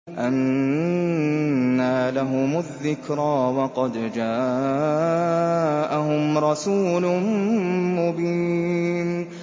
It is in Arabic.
أَنَّىٰ لَهُمُ الذِّكْرَىٰ وَقَدْ جَاءَهُمْ رَسُولٌ مُّبِينٌ